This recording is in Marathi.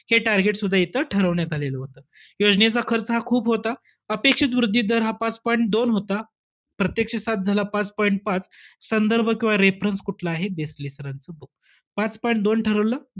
हे target सुद्धा इथं ठरवण्यात आलेलं होतं. योजनेचा खर्च हा खूप होता. अपेक्षित वृद्धी दर हा पाच point दोन होता. प्रत्यक्ष सात झाला पाच point पाच, संदर्भ किंवा reference कुठला आहे? देसले sir चं book. पाच point दोन ठरवलं,